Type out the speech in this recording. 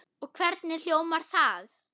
Og hvernig hljómar það?